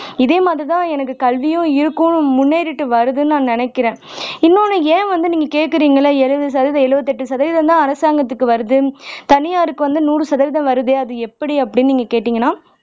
இதேமாதிரிதான் எனக்கு கல்வியும் இருக்கும் முன்னேறிட்டு வருதுன்னு நினைக்கிறேன் இன்னொன்னு ஏன் வந்து நீங்க கேக்குறீங்கன்னா எழுபது சதவீதம் எழுபத்தெட்டு சதவீதம்தான் அரசாங்கத்துக்கு வருது தனியாருக்கு வந்து நூறு சதவீதம் வருதே அது எப்படி நீங்க கேட்டீங்கன்னா